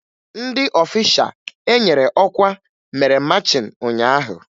Ndị ọfisha enyere ọkwa mere machịn ụnyaahụ